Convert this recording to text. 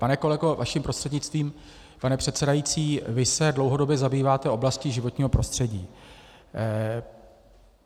Pane kolego, vaším prostřednictvím, pane předsedající, vy se dlouhodobě zabýváte oblastí životního prostředí.